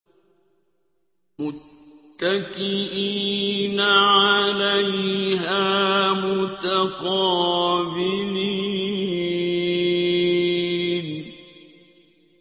مُّتَّكِئِينَ عَلَيْهَا مُتَقَابِلِينَ